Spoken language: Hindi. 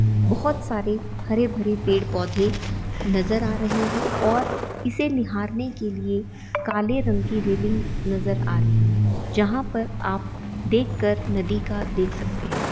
बोहत सारे हरे भरे पेड़ पौधे नज़र आ रहे है और इसे निहारने के लिए काले रंग की रेलिंग नज़र आ रही हैजहाँ पर देख कर आप नदी का देख सकते है।